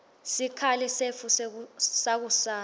sikhali setfu sakusasa